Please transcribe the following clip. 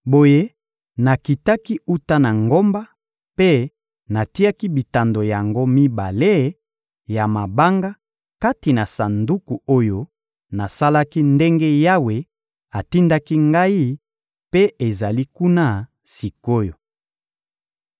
Boye nakitaki wuta na ngomba mpe natiaki bitando yango mibale ya mabanga kati na sanduku oyo nasalaki ndenge Yawe atindaki ngai mpe ezali kuna sik’oyo.